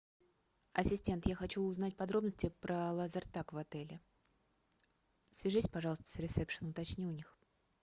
ассистент я хочу узнать подробности про лазертаг в отеле свяжись пожалуйста с ресепшеном уточни у них